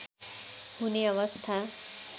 हुने अवस्था